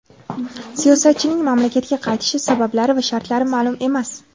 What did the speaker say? Siyosatchining mamlakatga qaytishi sabablari va shartlari ma’lum emas.